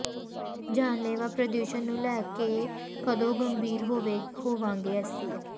ਜਾਨਲੇਵਾ ਪ੍ਰਦੂਸ਼ਣ ਨੂੰ ਲੈ ਕੇ ਕਦੋਂ ਗੰਭੀਰ ਹੋਵਾਂਗੇ ਅਸੀਂ